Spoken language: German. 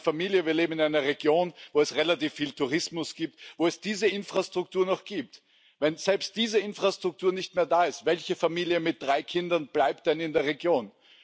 Ich und meine Familie leben in einer Region, wo es relativ viel Tourismus gibt, wo es diese Infrastruktur noch gibt. Wenn selbst diese Infrastruktur nicht mehr da ist, welche Familie mit drei Kindern bleibt dann in der Region?